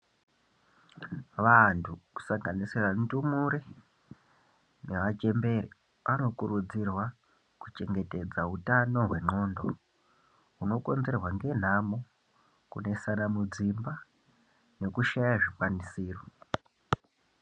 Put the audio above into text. Vantu kusanganisira ndumure nevachembere vanokurudzirwa kuchengedza utano hwendxondo hunokonzerwa ngenhamo, kunetsana mudzimba nekushaya zvikwanisiro.